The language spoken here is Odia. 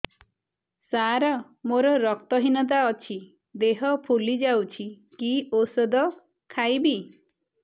ସାର ମୋର ରକ୍ତ ହିନତା ଅଛି ଦେହ ଫୁଲି ଯାଉଛି କି ଓଷଦ ଖାଇବି